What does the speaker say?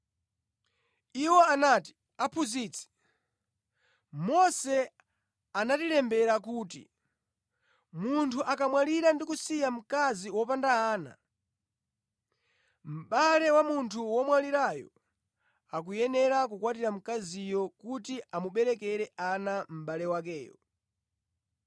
Iwo anati, “Aphunzitsi, Mose anatilembera kuti munthu akamwalira ndi kusiya mkazi wopanda ana, mʼbale wa munthu womwalirayo akuyenera kukwatira mkaziyo kuti amuberekere ana mʼbale wakeyo.